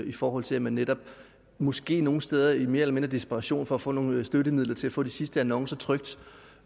i forhold til at man netop måske nogle steder i mere eller mindre desperation for at få nogle støttemidler til at få de sidste annoncer trykt